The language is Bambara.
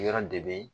Yɔrɔ de bɛ yen